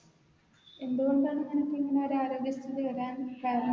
എന്തുകൊണ്ടാണ് തനിക്കിങ്ങനെ ഒര് ആരോഗ്യസ്ഥിതി വരാൻ കാരണം